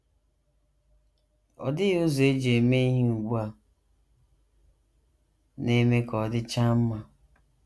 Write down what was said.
Ọ dịghị ụzọ e ji eme ihe ugbu a na - eme ka ọ dịchaa mma.